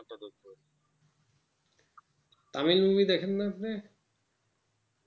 Tamil movie দেখেন না আপনি